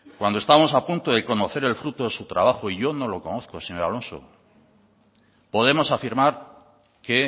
cuando estamos a punto de conocer el fruto de su trabajo y yo no lo conozco señor alonso podemos afirmar que